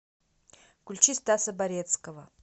включи стаса барецкого